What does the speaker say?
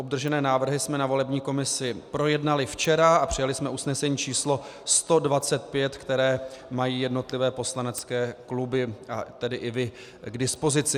Obdržené návrhy jsme na volební komisi projednali včera a přijali jsme usnesení číslo 125, které mají jednotlivé poslanecké kluby, a tedy i vy k dispozici.